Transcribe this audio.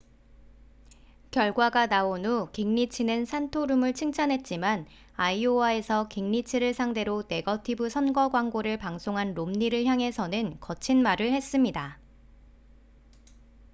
결과가 나온 후 깅리치는 산토룸을 칭찬했지만 아이오와에서 깅리치를 상대로 네거티브 선거 광고를 방송한 롬니를 향해서는 거친 말을 했습니다